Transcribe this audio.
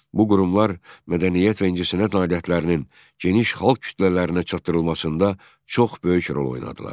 Bu qurumlar mədəniyyət və incəsənət nailiyyətlərinin geniş xalq kütlələrinə çatdırılmasında çox böyük rol oynadılar.